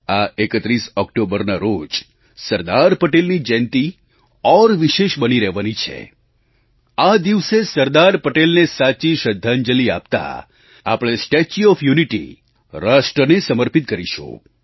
આ 31 ઓક્ટોબરના રોજ સરદાર પટેલની જયંતી ઓર વિશેષ બની રહેવાની છે આ દિવસે સરદાર પટેલને સાચી શ્રદ્ધાંજલી આપતા આપણે સ્ટેચ્યુ ઓએફ યુનિટી રાષ્ટ્રને સમર્પિત કરીશું